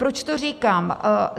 Proč to říkám?